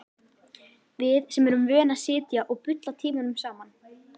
Við sem erum vön að sitja og bulla tímunum saman.